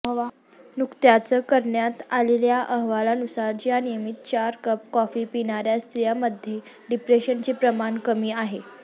नुकत्याच करण्यात आलेल्या अहवालानुसार ज्या नियमित चार कप कॉफी पिणाऱया स्त्रियांमध्ये डीप्रेशनचे प्रमाण कमी आहे